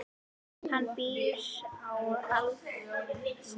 Hann býr á Álftanesi.